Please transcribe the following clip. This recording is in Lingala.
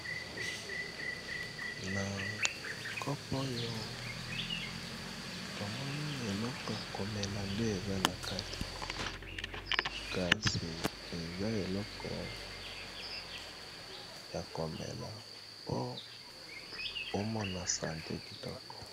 Na kopo oyo tomoni eleko ya komela nde eza na kate kasi eza eleko ya komela mpo omona sante kitoko.